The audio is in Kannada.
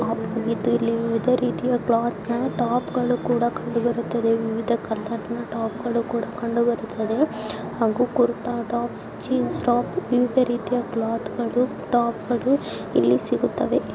ಇದೇ ರೀತಿಯ ಕ್ಲಾತ್ ಗಳು ಟಾಪ್ಕ ಕಂಡು ಬರುತ್ತವೆ ವಿವಿಧ ಕಲರ್ ನ ಟಾಪ್ ಗಳು ಕೂಡ ಕಂಡುಬರುತ್ತದೆ ಹಾಗೂ ಕುರುತಾ ಟಾಪ್ಸ್ ಜೀನ್ಸ್ ಟಾಪ್ ವಿವಿಧ ರೀತಿಯ ಕ್ಲಾತ್ ಗಳು ಇಲ್ಲಿ ಸಿಗುತ್ತವೆ